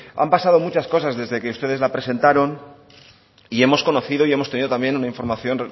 han pasado muchas cosas desde que ustedes la presentaron y hemos conocido y hemos tenido también una información